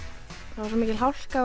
það var svo mikil hálka